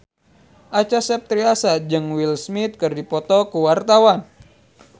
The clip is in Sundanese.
Acha Septriasa jeung Will Smith keur dipoto ku wartawan